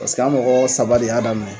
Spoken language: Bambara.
Paseke a mɔgɔ saba de y'a daminɛ.